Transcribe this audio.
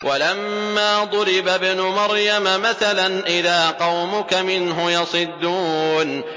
۞ وَلَمَّا ضُرِبَ ابْنُ مَرْيَمَ مَثَلًا إِذَا قَوْمُكَ مِنْهُ يَصِدُّونَ